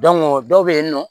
dɔw bɛ yen nɔ